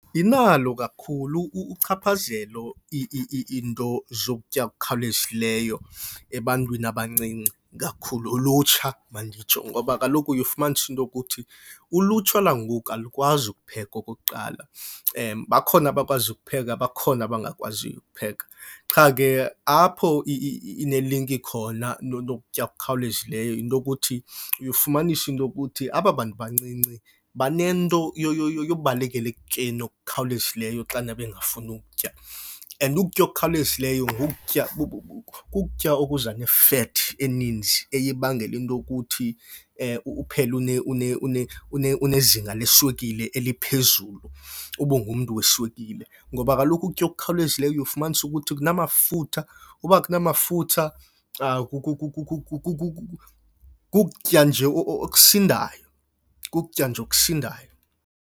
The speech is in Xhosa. Inalo kakhulu uchaphazelo iinto zokutya okukhawulezisileyo ebantwini abancinci, ikakhulu ulutsha manditsho. Ngoba kaloku uye ufumanise into ukuthi ulutsha lwangoku alukwazi ukupheka okokuqala. Bakhona abakwaziyo ukupheka bakhona abangakwaziyo ukupheka. Qha ke apho inelinki khona nokutya okukhawulezileyo yinto ukuthi, uye ufumanise into yokuthi aba bantu bancinci banento yobalekela ekutyeni okukhawulezisileyo xana bengafuni ukutya. And ukutya okukhawulezisileyo kukutya ngokutya okuza ne-fat eninzi eye ibangela into yokuthi uphele unezinga leswekile eliphezulu, ube ungumntu weswekile. Ngoba kaloku ukutya okukhawulezisileyo uye ufumanise ukuthi kunamafutha. Uba akunamafutha, kukutya nje okusindayo, kukutya nje okusindayo.